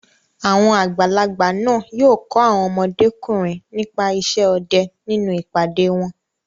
Àwọn àgbàlagbà náà yóò kọ́ àwọn ọmọdékùnrin nípa isẹ́ ọdẹ nínú ìpàdé wọn.